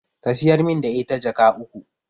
Ka siyar min da ita Jaka uku